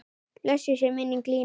Blessuð sé minning Línu okkar.